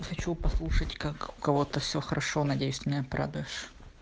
я хочу послушать как у кого-то все хорошо надеюсь ты меня порадуешь